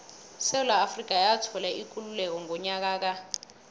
isewula afrika yathola ikululeko ngonyaka ka